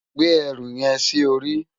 Gbé èrú yèn si óri